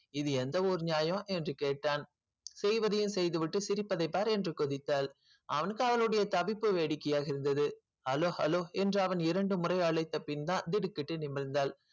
இது எந்த ஊர் நியாயம் என்று கேட்டான் செய்வதையும் செய்துவிட்டு சிரிப்பதை பார் என்று கொதித்தாள் அவனுக்கு அவளுடைய தவிப்பு வேடிக்கையாக இருந்தது hello hello என்று அவன் இரண்டு முறை அழைத்த பின்தான் திடுக்கிட்டு நிமிர்ந்தாள்